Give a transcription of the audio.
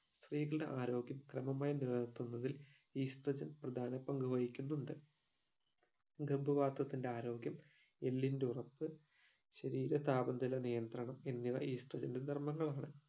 സ്ത്രീകളുടെ ആരോഗ്യം ക്രമമായി നിലനിൽത്തുന്നതിൽ estrogen പ്രധാന പങ്കു വഹിക്കുന്നുണ്ട് ഗർഭ പത്രത്തിന്റെ ആരോഗ്യം എല്ലിന്റെ ഉറപ്പ് ശരീര താപനില നിയന്ത്രണം എന്നിവ estrogen ന്റെ ധര്മങ്ങളാണ്